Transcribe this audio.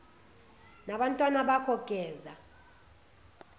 nabantwana bakho geza